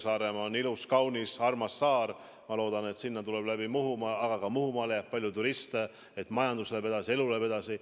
Saaremaa on ilus, kaunis ja armas saar, ma loodan, et sinna tuleb Muhumaa kaudu palju turiste – ja et neid jääb ka Muhumaale – ja majandus läheb edasi, elu läheb edasi.